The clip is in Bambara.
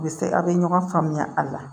U bɛ se a' bɛ ɲɔgɔn faamuya a la